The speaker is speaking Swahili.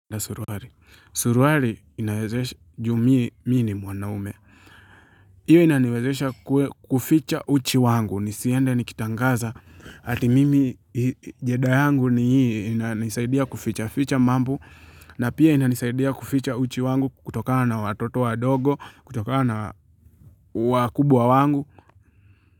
Na suruari. Suruari inawezesha ju mie mi ni mwanaume. Iwe inaniwezesha kuficha uchi wangu. Nisiende nikitangaza. Ati mimi heda yangu ni hii ina nisaidia kuficha. Ficha mambo. Na pia ina nisaidia kuficha uchi wangu kutoka na watoto wa dogo. Kutokana na wakubwa wa wangu.